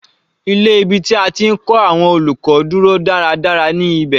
Ilé ibi tí a ti ń kọ́ àwọn olùkọ́ dúró dáradára ní ibẹ̀.